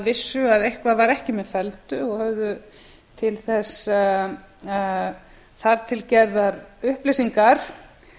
eitthvað var ekki með felldu og höfðu til þess þar til gerðar upplýsingar